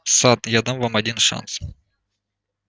сатт я дам вам один шанс